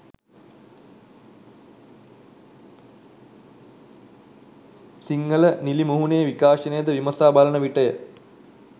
සිංහල නිළි මුහුණේ විකාශනය ද විමසා බලන විටය.